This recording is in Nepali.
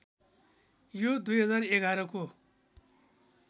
यो २०११ को